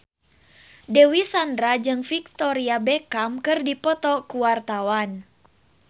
Dewi Sandra jeung Victoria Beckham keur dipoto ku wartawan